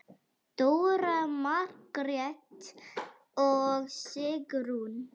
Dóra, Margrét og Sigrún.